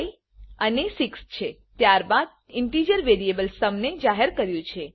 ત્યાર બાદ આપણે integer variable sum integer variable sum ને જાહેર કર્યું છે